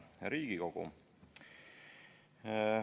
Hea Riigikogu!